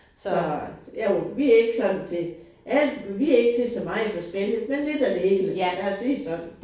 Så jo vi ikke sådan til alt. Vi ikke til så meget forskellige men lidt af det hele lad os sige det sådan